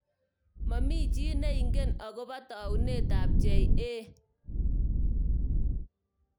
Momi chi neingen akobo taunet ab JA.